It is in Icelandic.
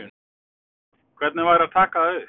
Hvernig væri að taka það upp?